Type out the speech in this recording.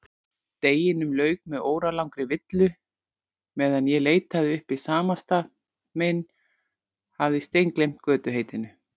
Deginum lauk með óralangri villu meðan ég leitaði uppi samastað minn, hafði steingleymt götuheitinu.